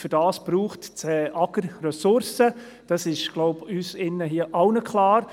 Und dafür braucht das AGR Ressourcen, ich denke das ist uns allen hier im Saal klar.